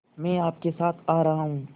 मैं आपके साथ आ रहा हूँ